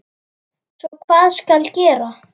Svo hvað skal gera?